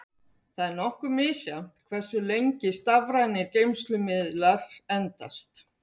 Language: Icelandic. Það er nokkuð misjafnt hversu lengi stafrænir geymslumiðlar endast.